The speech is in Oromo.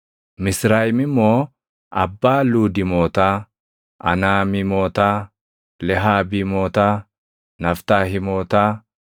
Misrayim immoo abbaa Luudiimootaa, Anaamiimotaa, Lehaabiimotaa, Naftahiimootaa,